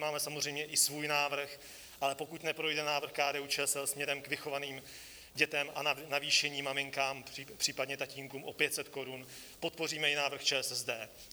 Máme samozřejmě i svůj návrh, ale pokud neprojde návrh KDU-ČSL směrem k vychovaným dětem a navýšení maminkám, případně tatínkům o 500 Kč, podpoříme i návrh ČSSD.